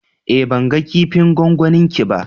Eh, ban gan kipin gwangwani ki ba.